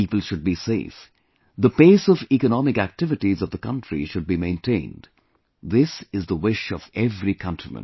People should be safe, the pace of economic activities of the country should be maintained this is the wish of every countryman